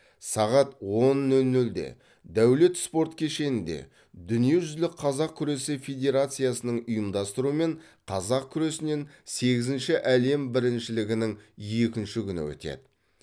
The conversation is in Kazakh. сағат он нөл нөлде дәулет спорт кешенінде дүниежүзілік қазақ күресі федерациясының ұйымдастыруымен қазақ күресінен сегізінші әлем біріншілігінің екінші күні өтеді